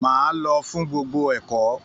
Máa lọ fún gbogbo ẹ̀kọ́!